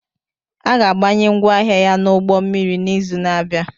A ga-abanye ngwaahịa ya n'ụgbọ mmiri n'izu na-abịa